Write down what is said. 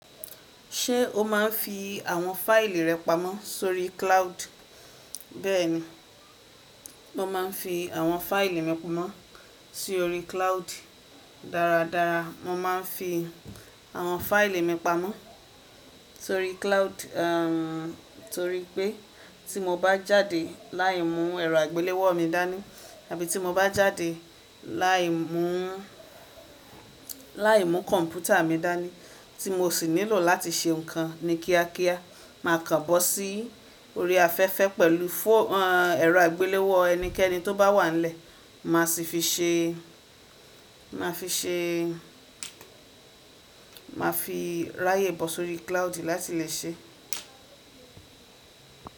Ṣé o máa ń fi àwọn fáìlì rẹ pamọ́ sórí cloud? Bẹ́ẹ̀ni, mo máa ń fi àwọn fáìlì mi pamọ́ sórí cloud. Dára dára, mo máa ń fi àwọn fáìlì mi pamọ́ sórí cloud, torí pé tí mo bá jáde láì mú ẹ̀rọ àgbéléwò mi dání àbí tí mo bá jáde láì mú, láì mú kọ̀ǹpútà mi dání tí mo sì nílò láti ṣe ǹkan ní kíákíá, màá kàn bọ́ si orí afẹ́fẹ́ pẹ̀lú fó-- ẹ̀rọ àgbéléwò ẹnikẹ́ni tó bá wà nílẹ̀, màá sì fi ṣe, màá fi ṣe, màá fi ráyè bọ̀ sórí cloud láti lè ṣe.